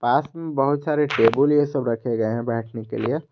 पास में बहुत सारे टेबल ये सब रखे गए हैं बैठने के लिए।